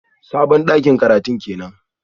Sabon dakin karatun kenan?